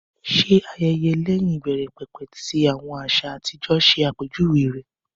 Ṣé ayẹyẹ lẹ́yìn ìbẹ̀rẹ̀pẹ̀pẹ̀ tí àwọn àsè àti ijó ṣàpèjúwe rẹ̀?